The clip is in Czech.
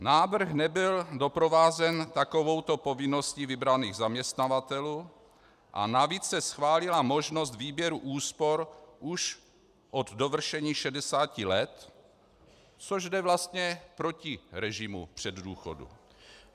Návrh nebyl doprovázen takovouto povinností vybraných zaměstnavatelů a navíc se schválila možnost výběru úspor už od dovršení 60 let, což jde vlastně proti režimu předdůchodů.